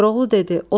Koroğlu dedi: